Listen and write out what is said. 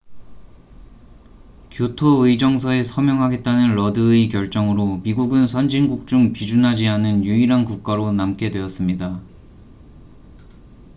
교토의정서에 서명하겠다는 러드의 결정으로 미국은 선진국 중 비준하지 않은 유일한 국가로 남게 되었습니다